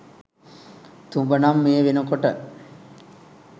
තුඹ නං මේ වෙනකොට